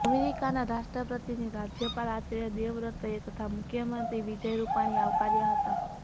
અમેરિકાના રાષ્ટ્રપતિને રાજયપાલ આચાર્ય દેવવ્રતએ તથા મુખ્યમંત્રી વિજય રૂપાણીએ આવકાર્યા હતા